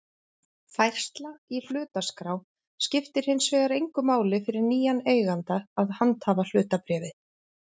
Færsla í hlutaskrá skiptir hins vegar engu máli fyrir nýjan eiganda að handhafahlutabréfi.